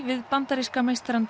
við bandaríska meistarann